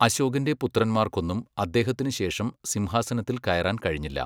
അശോകന്റെ പുത്രന്മാർക്കൊന്നും അദ്ദേഹത്തിനു ശേഷം സിംഹാസനത്തിൽ കയറാൻ കഴിഞ്ഞില്ല.